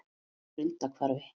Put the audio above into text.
Grundarhvarfi